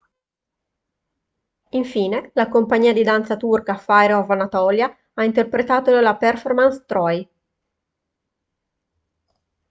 infine la compagnia di danza turca fire of anatolia ha interpretato la performance troy